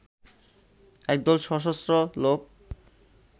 একদল সশস্ত্র লোক